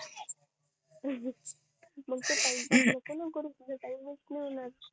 तुला टाइम च नई मिळत